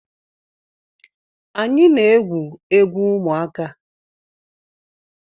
Anyị na-egwu egwu ụmụaka